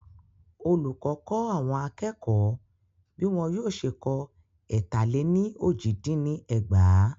Olùkọ kọ́ àwọn akẹ́kọ̀ọ́ bí wọn yóò ṣe kọ étà lẹ ní ójì dín ní ẹgbàá.